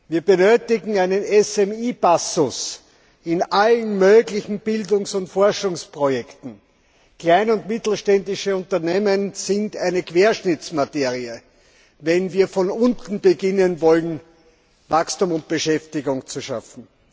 Wir benötigen einen KMU Passus in allen möglichen Bildungs und Forschungsprojekten. Kleine und mittelständische Unternehmen sind eine Querschnittsmaterie, wenn wir von unten beginnen wollen, Wachstum und Beschäftigung zu schaffen.